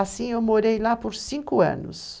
Assim eu morei lá por cinco anos.